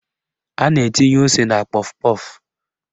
A na-etinye ose na kpọf kpọf